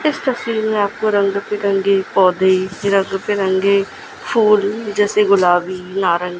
इस तस्वीर में आपको रंग बिरंगे पौधे रंग बिरंगे फूल जैसे गुलाबी नारं--